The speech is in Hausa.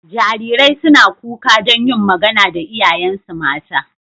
Jarirai suna kuka don yin magana da iyayensu mata.